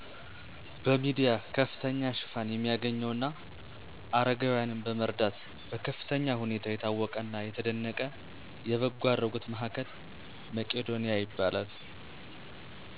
በሚዲያ ከፍተኛ ሽፋን የሚያገኝው እና አረጋዊያንን በመርዳት በከፍተኛ ሁኔታ የታወቀና የተደነቀ የበጎ አድራጎት ማዕከል መቂዶኒያ ይባላል።